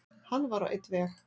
Hann var á einn veg.